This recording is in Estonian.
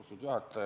Austatud juhataja!